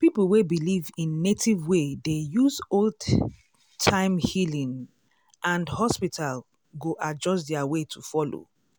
people wey believe in native way dey use old-time healing and hospital go adjust their way to follow.